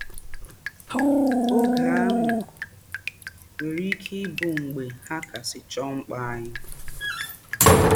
Ògé áhụ̀ nwèrè íké í bùrù mgbè hà kàsị́ choo ḿkpà ányị̀